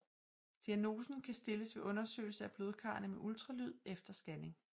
Diagnosen kan stilles ved undersøgelse af blodkarrene med ultralyd eller scanning